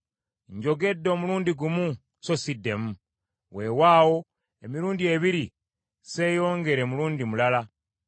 Njogedde omulundi gumu, so siddemu; weewaawo emirundi ebiri sseeyongere mulundi mulala.”